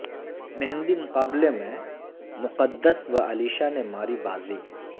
مہندی مقابلہ میں مقدس و علیشہ نے ماری بازی